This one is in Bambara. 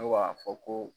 Ne b'a fɔ ko